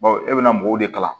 Bawo e bɛ na mɔgɔw de kalan